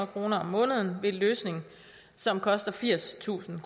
kroner om måneden ved en løsning som koster firstusind